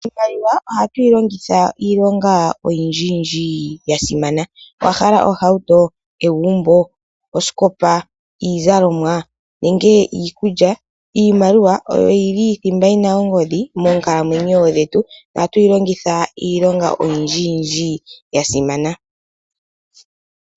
Iimaliwa ohatu yilongitha iilonga oyindji yasimana. Owahala ohauto, egumbo, osikopa, iizalomwa nenge iikulya. Iimaliwa oyo yili thimba yina ongodhi moonkalamwenyo dhetu ohatu yilongitha iilonga oyindji yindji yasimana.